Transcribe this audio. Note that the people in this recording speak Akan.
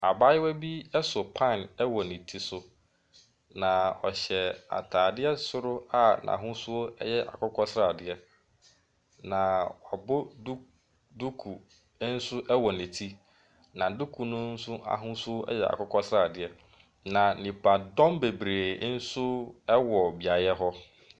Abaayewa bi so pan wɔ ne ti so, na ɔhyɛ ataadeɛ soro a n’ahosuo yɛ akokɔsradeɛ, na wabɔ du duku nso wɔ ne ti. Na duku no nso ahosuo yɛ akokɔsradeɛ. Na nnipadɔm bebree nso wɔ beaeɛ hɔ.